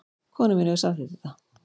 Konan mín hefur samþykkt þetta